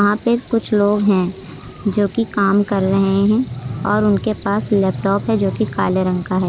यहां पे कुछ लोग हैं जो कि काम कर रहे हैं और उनके पास लैपटॉप है जो कि काले रंग का है।